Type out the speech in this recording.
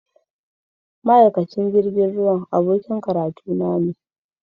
Ma’aikacin jirgin ruwa abokin karatuna ne.